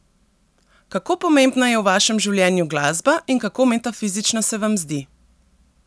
Kako pomembna je v vašem življenju glasba in kako metafizična se vam zdi?